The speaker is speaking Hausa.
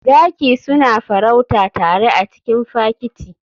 Zaki suna farauta tare a cikin fakiti.